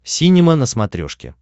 синема на смотрешке